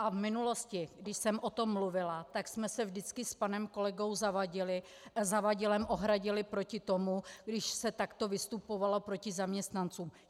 A v minulosti, když jsem o tom mluvila, tak jsme se vždycky s panem kolegou Zavadilem ohradili proti tomu, když se takto vystupovalo proti zaměstnancům.